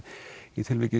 í tilviki